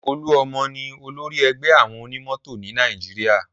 Olúọmọ ni olórí ẹgbẹ́ àwọn onímọ̀tò ni Nàìjíríà